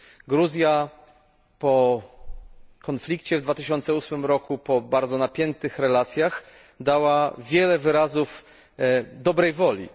Gruzja po konflikcie w 2008 roku, po bardzo napiętych relacjach, dała wiele wyrazów dobrej woli.